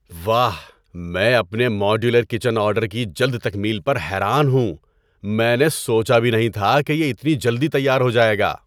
واہ! میں اپنے ماڈیولر کچن آرڈر کی جلد تکمیل پر حیران ہوں۔ میں نے سوچا بھی نہیں تھا کہ یہ اتنی جلدی تیار ہو جائے گا!